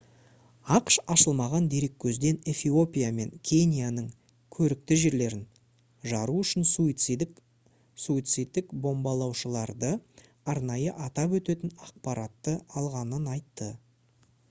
ақш ашылмаған дереккөзден эфиопия мен кенияның «көрікті жерлерін» жару үшін суицидтік бомбалаушыларды арнайы атап өтетін ақпаратты алғанын айтты